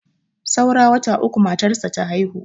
saura wata uku matarsa ta haihu